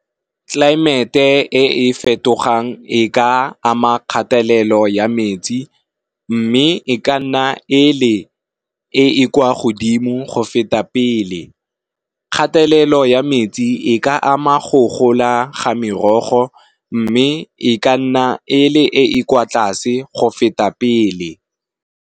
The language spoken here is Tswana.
Tlaemete e e fetogang e ka ama kgatelelo ya metsi, mme e ka nna e le e e kwa godimo go feta pele. Kgatelelo ya metsi e ka ama go gola ga merogo, mme e ka nna e le e kwa tlase go feta pele.